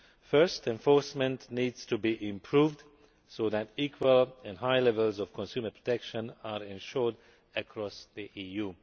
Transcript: First, enforcement needs to be improved so that equal and high levels of consumer protection are ensured across the EU.